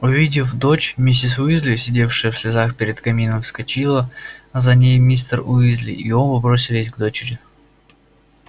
увидев дочь миссис уизли сидевшая в слезах перед камином вскочила за ней мистер уизли и оба бросились к дочери